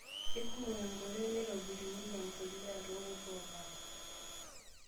Keikomok nkoitoi naitobirunyieki empuliya toorkut oopasha.